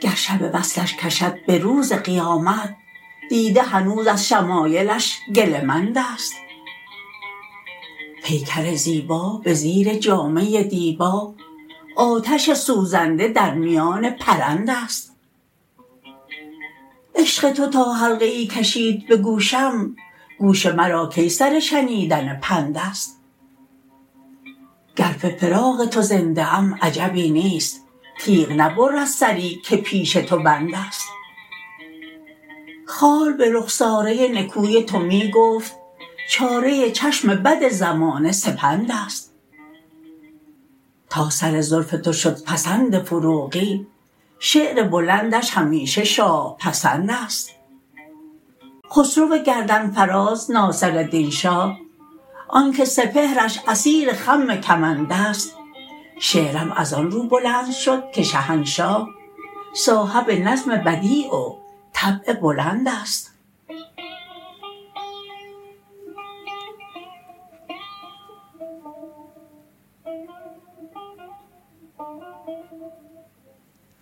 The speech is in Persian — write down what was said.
گر شب وصلش کشد به روز قیامت دیده هنوز از شمایلش گله مند است پیکر زیبا به زیر جامه دیبا آتش سوزنده در میان پرند است عشق تو تا حلقه ای کشید به گوشم گوش مرا کی سر شنیدن پند است گر به فراق تو زنده ام عجبی نیست تیغ نبرد سری که پیش تو بند است خال به رخساره نکوی تو می گفت چاره چشم بد زمانه سپند است تا سر زلف تو شد پسند فروغی شعر بلندش همیشه شاه پسند است خسرو گردن فراز ناصردین شاه آن که سپهرش اسیر خم کمند است شعرم از آن رو بلند شد که شهنشاه صاحب نظم بدیع و طبع بلند است